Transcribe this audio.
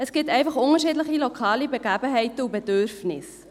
Es gibt einfach unterschiedliche lokale Begebenheiten und Bedürfnisse.